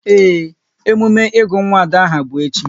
Ee, emume ịgụ nwa Ada aha bụ echi